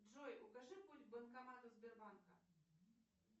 джой укажи путь к банкомату сбербанка